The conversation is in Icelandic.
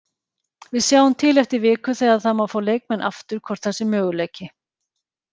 Við sjáum til eftir viku þegar það má fá leikmenn aftur hvort það sé möguleiki.